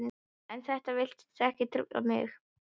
En þetta virtist ekki trufla mig.